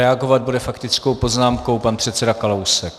Reagovat bude faktickou poznámkou pan předseda Kalousek.